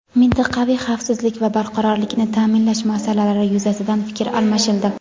mintaqaviy xavfsizlik va barqarorlikni ta’minlash masalalari yuzasidan fikr almashildi.